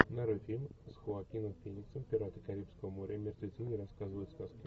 нарой фильм с хоакином фениксом пираты карибского моря мертвецы не рассказывают сказки